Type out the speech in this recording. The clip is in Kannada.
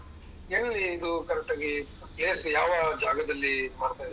ಎಲ್ಲಿ ಇದು correct ಆಗಿ place ಯಾವ ಜಾಗದಲ್ಲಿ ಮಾಡ್ತಾ ಇದ್ದೀರಾ?